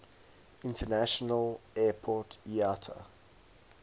international airport iata